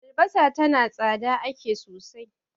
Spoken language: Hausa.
albasa tana tsada ake sosai